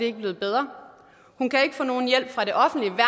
ikke blevet bedre hun kan ikke få nogen hjælp fra det offentlige